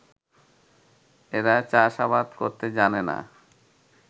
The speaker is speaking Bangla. এরা চাষ-আবাদ করতে জানে না